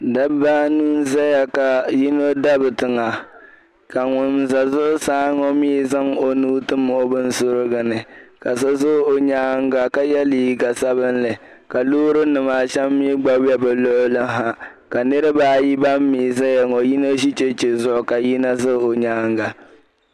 Dabba anu n-zaya ka yino dabi tiŋa ka ŋun za zuɣusaa ŋɔ mii zaŋ o nuu tim o binsuriguni ka so za o nyaaŋa ye liiga sabinli ka loorinima a shɛm mii gba be be luɣili ha ka niriba ayi ban mii zaya ŋɔ yino ʒe cheche zuɣu ka yino za o nyaaŋa.